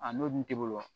A n'o dun t'i bolo wa